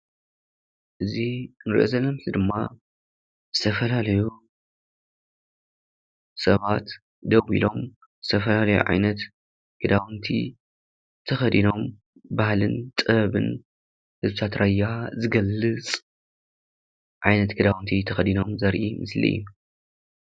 እዚ እንሪኦ ዘለና ምስሊ ድማ ዝተፈላለዩ ሰባት ደው ኢሎም ዝተፈላለዩ ዓይነት ክዳውንቲ ተኸዲኖም ባህሊን ጥበብን ህዝቢታት ራያ ዝገልፅ ዓይነት ክዳውንቲ ተኸዲኖም ዘርኢ ምስሊ እዩ፡፡